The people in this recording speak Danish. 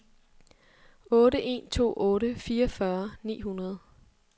otte en to otte fireogfyrre ni hundrede